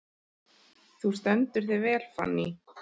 Þú stendur þig vel, Fanný!